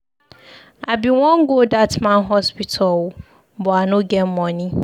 I bin wan go that man hospital oo but I no get money.